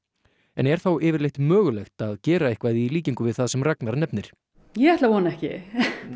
en er þá yfirleitt mögulegt að gera eitthvað í líkingu við það sem Ragnar nefnir ég ætla að vona ekki